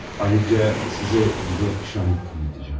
Ayrıca sizə bir də şahid eləyəcəm.